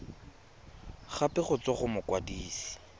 gape go tswa go mokwadise